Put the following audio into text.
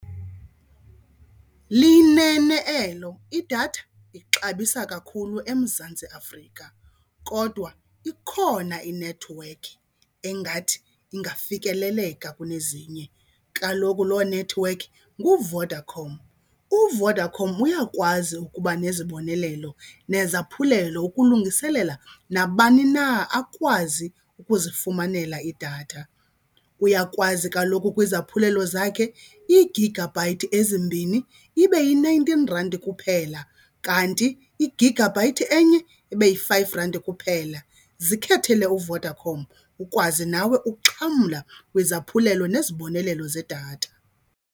Liyinene elo, idatha ixabisa kakhulu eMzantsi Afrika kodwa ikhona inethiwekhi engathi ingafikeleleka kunezinye. Kaloku loo nethiwekhi nguVodacom. UVodacom uyakwazi ukuba nezibonelelo nezaphulelo ukulungiselela nabani na akwazi ukuzifumanela idatha. Uyakwazi kaloku kwizaphulelo zakhe iigagabhayithi ezimbini ibe yi-nineteen rand kuphela, kanti igagabhayithi enye ibe yi-five rand kuphela. Zikhethekile uVodacom ukwazi nawe ukuxhamla kwizaphulelo nezibonelelo zedatha.